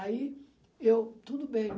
Aí eu, tudo bem.